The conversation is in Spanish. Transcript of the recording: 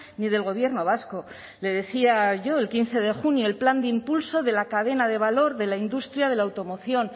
ni del gobierno vasco le decía yo el quince de junio el plan de impulso de la cadena de valor de la industria de la automoción